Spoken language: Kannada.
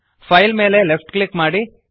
ಫೈಲ್ ಮೇಲೆ ಲೆಫ್ಟ್ ಕ್ಲಿಕ್ ಮಾಡಿ